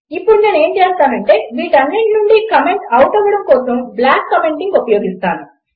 ఇప్పుడు నేను ఏమి చేస్తానంటే వీటన్నింటి నుండి కమెంట్ ఔట్ అవ్వడం కోసం బ్లాక్ కమెంటింగ్ ఉపయోగిస్తాను